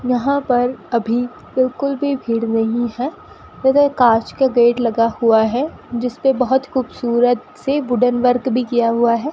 यहां पर अभी बिल्कुल भी भीड़ नहीं है उधर कांच का गेट लगा हुआ है जिसपे बहोत खूबसूरत सी वुडन वर्क भी किया हुआ है।